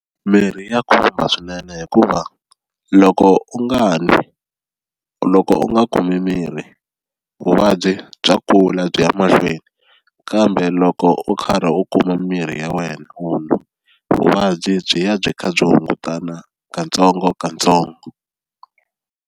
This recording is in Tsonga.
Mirhi ya khumba swinene hikuva loko u nga nwi loko u nga kumi mirhi vuvabyi bya kula byi ya mahlweni kambe loko u karhi u kuma mirhi ya wena u n'wa, vuvabyi byi ya byi kha byi hungutana katsongokatsongo.